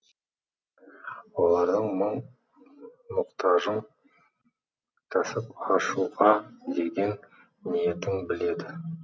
олардың мұң мұқтажын кәсіп ашуға деген ниетін біледі